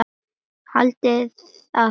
Haldiði að þetta sé ódýrt?